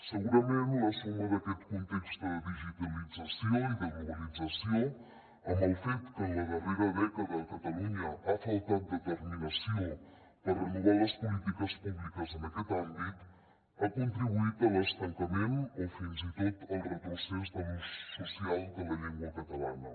segurament la suma d’aquest context de digitalització i de globalització amb el fet que en la darrera dècada a catalunya ha faltat determinació per renovar les polítiques públiques en aquest àmbit ha contribuït a l’estancament o fins i tot al retrocés de l’ús social de la llengua catalana